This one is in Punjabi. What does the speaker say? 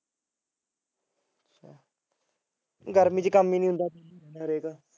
ਗਰਮੀ ਚ ਕੰਮ ਨੀ ਹੁੰਦਾ